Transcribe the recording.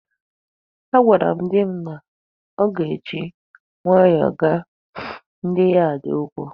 Agwara m di m na ọ ga-eji nwayọọ gwa ndị yad a okwu.